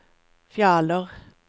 Fjaler